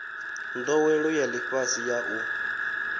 ndowelo ya lifhasi ya u